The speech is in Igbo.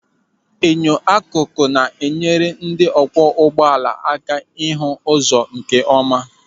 Enyo akụkụ na-enyere ndị ọkwọ ụgbọala aka ịhụ ụzọ nkeọma.